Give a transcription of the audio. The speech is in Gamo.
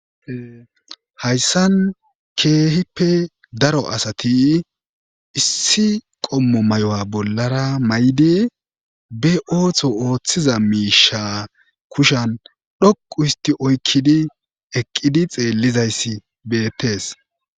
Hayssan keehippe daro asati issi qommo may7o7a bollara may7idi be ootho ooththiza miisha kushan dhoqu isti oykkidi eqqidi xeellizayssi beettees.